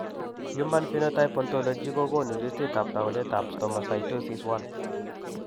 Human phenotype ontology kokoonu listiitab taakunetaab Stomatocytosis I.